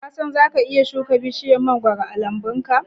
Ka san zaka iya shuka bishiyar mangoro a lambunka?